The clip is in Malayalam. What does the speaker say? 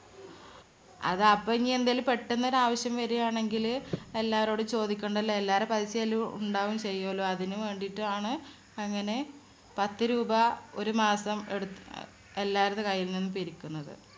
അതപ്പോ ഇനി എന്തേലും പെട്ടന്ന് ഒരാവശ്യം വരുവാണെങ്കില് എല്ലാവരോടും ചോദിക്കണ്ടല്ലോ. എല്ലാരുടെയും പൈസ അതില് ഉണ്ടാവുകയും ചെയുവല്ലോ. അതിന് വേണ്ടീട്ടാണ് അങ്ങനെ പത്തുരൂപ ഒരു മാസം എടു എല്ലാരുടെ കൈയിൽനിന്നും പിരിക്കുന്നത്.